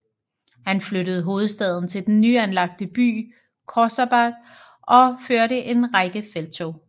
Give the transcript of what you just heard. Han flyttede hovedstaden til den nyanlagte by Khorsabad og førte en række felttog